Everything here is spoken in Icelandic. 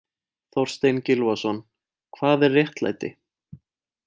Þorstein Gylfason, Hvað er réttlæti?